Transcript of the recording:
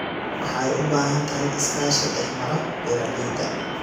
Waxay u baahan tahay iskaashi dhexmara beeralayda.